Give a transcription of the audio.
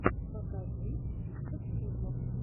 покажи список фильмов